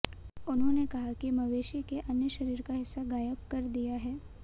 उन्होंने कहा कि मवेशी के अन्य शरीर का हिस्सा गायब कर दिया है